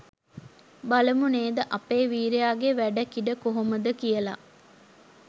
බලමු නේද අපේ වීරයාගේ වැඩ කිඩ කොහොමද කියලා